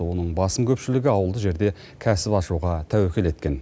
оның басым көпшілігі ауылды жерде кәсіп ашуға тәуекел еткен